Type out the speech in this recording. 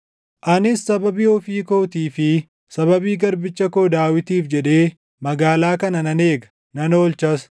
“Anis sababii ofii kootii fi sababii garbicha koo Daawitiif jedhee magaalaa kana nan eega; nan oolchas!”